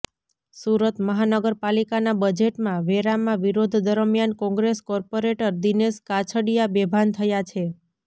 સુરત મહાનગર પાલિકાના બજેટમાં વેરામા વિરોધ દરમિયાન કોંગ્રેસ કોર્પોરેટર દિનેશ કાછડિયા બેભાન થયા છે